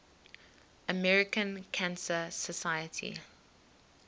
american cancer society